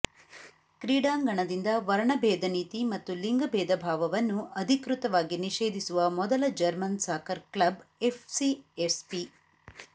ಕ್ರೀಡಾಂಗಣದಿಂದ ವರ್ಣಭೇದ ನೀತಿ ಮತ್ತು ಲಿಂಗಭೇದಭಾವವನ್ನು ಅಧಿಕೃತವಾಗಿ ನಿಷೇಧಿಸುವ ಮೊದಲ ಜರ್ಮನ್ ಸಾಕರ್ ಕ್ಲಬ್ ಎಫ್ಸಿಎಸ್ಪಿ